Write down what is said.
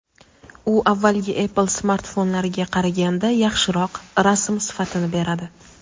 u avvalgi Apple smartfonlariga qaraganda yaxshiroq rasm sifatini beradi.